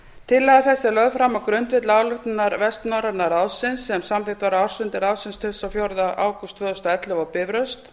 tillaga þessi er lögð fram á grundvelli ályktunar vestnorræna ráðsins sem samþykkt var á ársfundi ráðsins tuttugasta og fjórða ágúst tvö þúsund og ellefu á bifröst